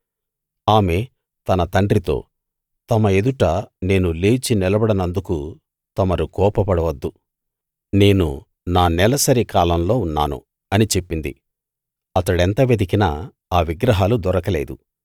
ఆమె తన తండ్రితో తమ ఎదుట నేను లేఛి నిలబడనందుకు తమరు కోపపడవద్దు నేను నా నెలసరి కాలంలో ఉన్నాను అని చెప్పింది అతడెంత వెతికినా ఆ విగ్రహాలు దొరకలేదు